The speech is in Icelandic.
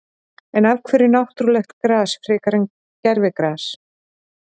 En af hverju náttúrulegt gras frekar en gervigras?